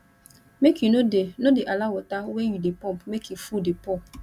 make you no dey no dey allow water wey you dey pump make e full dey pour